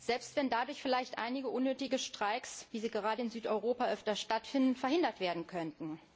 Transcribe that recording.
Selbst wenn dadurch vielleicht einige unnötige Streiks, wie sie gerade in Südeuropa öfter stattfinden, verhindert werden könnten.